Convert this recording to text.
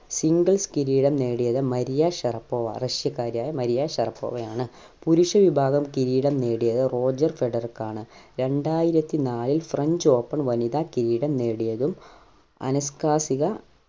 singles കിരീടം നേടിയത് Maria Sharapova റഷ്യക്കാരിയായ മരിയ ഷറപ്പോവ ആണ് പുരുഷ വിഭാഗം കിരീടം നേടിയത് റോജർ ഫെഡറക് ആണ് രണ്ടായിരത്തി നാലിൽ french open വനിതാ കിരീടം നേടിയതും അനസ്‌കാസിക